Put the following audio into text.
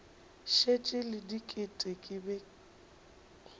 šetše le diket ke be